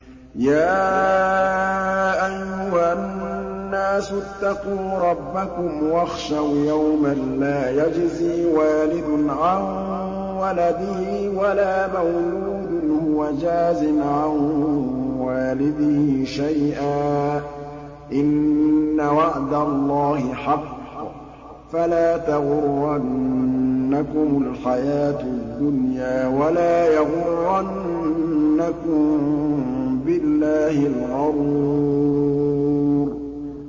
يَا أَيُّهَا النَّاسُ اتَّقُوا رَبَّكُمْ وَاخْشَوْا يَوْمًا لَّا يَجْزِي وَالِدٌ عَن وَلَدِهِ وَلَا مَوْلُودٌ هُوَ جَازٍ عَن وَالِدِهِ شَيْئًا ۚ إِنَّ وَعْدَ اللَّهِ حَقٌّ ۖ فَلَا تَغُرَّنَّكُمُ الْحَيَاةُ الدُّنْيَا وَلَا يَغُرَّنَّكُم بِاللَّهِ الْغَرُورُ